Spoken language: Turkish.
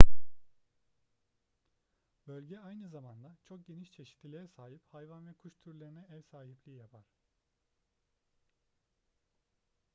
bölge aynı zamanda çok geniş çeşitliliğe sahip hayvan ve kuş türlerine ev sahipliği yapar